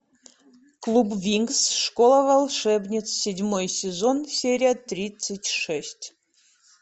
клуб винкс школа волшебниц седьмой сезон серия тридцать шесть